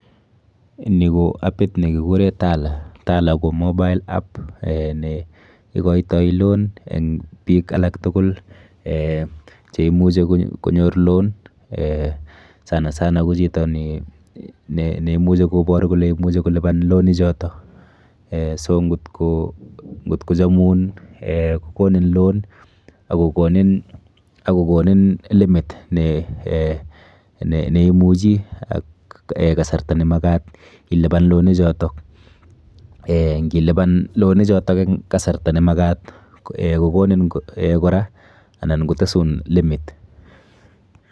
Ni ko appit nekikure Tala. Tala ko mobile app eh neikoito loan eng biik alak tukul eh cheimuchi konyor loan eh sana sana ko chito neimuchi kobor kole imuchi kolipan loan ichoto. Eh so nkot kochomun eh kokonin loan akokonin limit ne eh neimuchi ak kasarta nemakat ilipan loan ichoto. Eh nkilipan loan ichoto eng kasarta nemakat eh kokonin kora anan kotesun limit.